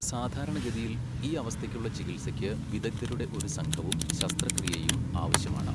സാധാരണഗതിയിൽ, ഈ അവസ്ഥയ്ക്കുള്ള ചികിത്സയ്ക്ക് വിദഗ്ശധരുടെ ഒരു സംഘവും ശസ്ത്രക്രിയയും ആവശ്യമാണ്.